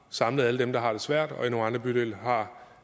samlet alle dem der har svært og i nogle andre bydele